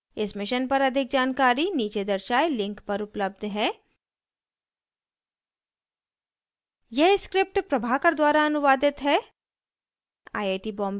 इस mission पर अधिक जानकारी नीचे दर्शाये link पर उपलब्ध है